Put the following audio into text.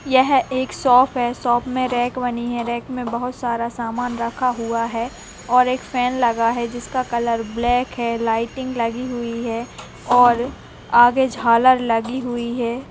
यह एक शॉप है। शॉप में रैक बनी है। रैक में बहोत सारा सामान रखा हुआ है और एक फैन लगा है जिसका कलर ब्लैक है। लाइटिंग लगी हुई है और आगे झालर लगी हुई है।